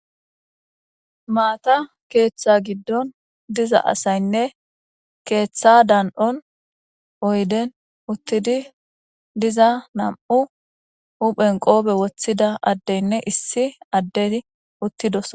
Maata keettha giddon diza asayinne keeththa dan7on uttida oyiden uttidi diza nam7u huphen qoobe woththida nam7u addeynne issi addey uttidosona.